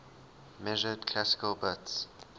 measured classical bits